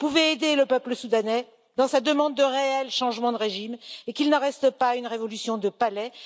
Vous pouvez aider le peuple soudanais dans sa demande de réel changement de régime, pour que cela ne reste pas une révolution de palais.